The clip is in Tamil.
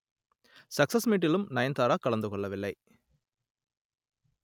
சக்சஸ் மீட்டிலும் நயன்தாரா கலந்து கொள்ளவில்லை